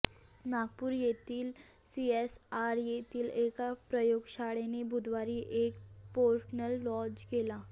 नागपूर येथील सीएसआर येथिल एका प्रयोगशाळेने बुधवारी एक पोर्टल लॉंच केले